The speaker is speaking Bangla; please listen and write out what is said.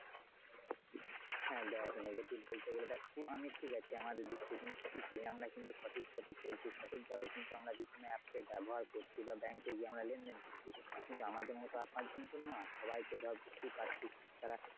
হ্যাঁ দেখ negative বলতে গেলে দেখ আমি ঠিক আছি আমরা সঠিক পথে চলছি সঠিক ভাবে বিভিন্ন app এর ব্যবহার করছি বা bank এ গিয়ে লেনদেন করছি কিন্তু আমাদের মতো তো আর পাঁচজন নয়। সবাই তো ধর বুঝতেই পারছিস তারা।